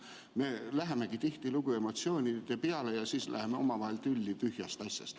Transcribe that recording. Me lähemegi tihtilugu emotsioonide peale ja siis läheme omavahel tülli tühjast asjast.